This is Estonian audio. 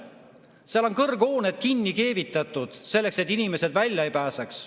Seal on kõrghooned pandeemia sildi all kinni keevitatud selleks, et inimesed välja ei pääseks.